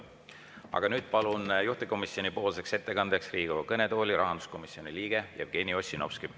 Aga nüüd palun juhtivkomisjoni nimel ettekandjaks Riigikogu kõnetooli rahanduskomisjoni liikme Jevgeni Ossinovski.